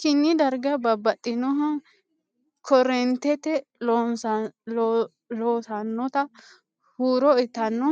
kini dargi babbaxinnoha korrentete loossannota huuro uyitanno